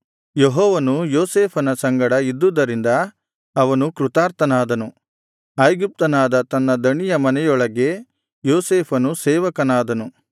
ಯೆಹೋವನು ಯೋಸೇಫನ ಸಂಗಡ ಇದ್ದುದರಿಂದ ಅವನು ಕೃತಾರ್ಥನಾದನು ಐಗುಪ್ತನಾದ ತನ್ನ ದಣಿಯ ಮನೆಯೊಳಗೆ ಯೋಸೇಫನು ಸೇವಕನಾದನು